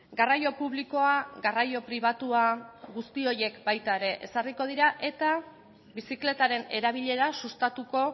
garraio publikoa garraio pribatua guzti horiek baita ere ezarriko dira eta bizikletaren erabilera sustatuko